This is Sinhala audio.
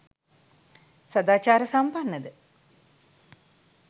සදාචාර සම්පන්නද?